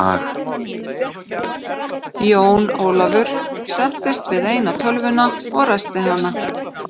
Jón Ólafur settist við eina tölvuna og ræsti hana.